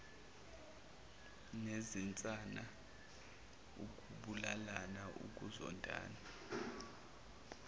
nezinsana ukubulalana ukuzondana